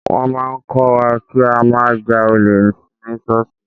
Wọ́n máa ń kọ́ wa kí á má ja olè ní ṣọ́ọ̀ṣì.